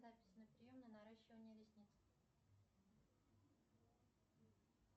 запись на прием на наращивание ресниц